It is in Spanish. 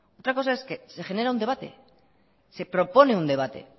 otra cosa es que se genera un debate se propone un debate